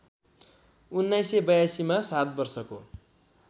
१९८२ मा सात वर्षको